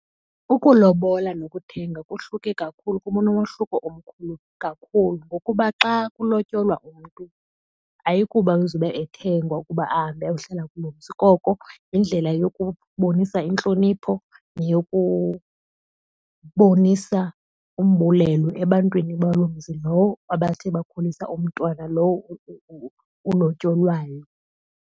Ukulobola nokuthenga kohluke kakhulu, kunomohluko omkhulu kakhulu ngokuba xa kulotyolwa umntu ayikuba uzobe ethengwa ukuba ahambe ayohlala kuloo mzi. Koko yindlela yokubonisa intlonipho neyokubonisa umbulelo ebantwini baloo mzi lowo abathe bakhulisa umntwana lowo ulotyolwayo.